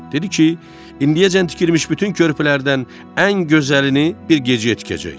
Dedi ki, indiyəcən tikilmiş bütün körpülərdən ən gözəlini bir gecəyə tikəcək.